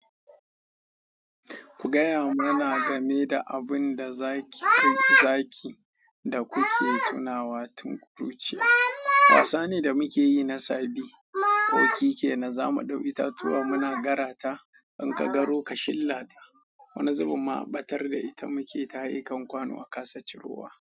Ku gaya mana game da abun da zaki, zaki, da kuke tunawa tun kuruciya. Wasa ne da muke yi na sabi. Okiki na za mu ɗau itatuwa muna gara ta. In ka garo ka shilla ta, wani zubin ma ɓatar da ita muke ta haye kan kwano a kasa cirowa.